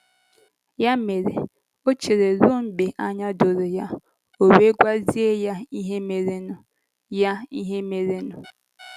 Ya mere, o cheere ruo mgbe anya doro ya, ọ wee gwazie ya ihe merenụ ya ihe merenụ.